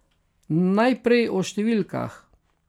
Najprej o številkah.